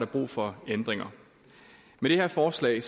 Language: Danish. brug for ændringer med det her forslag